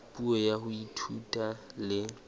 puo ya ho ithuta le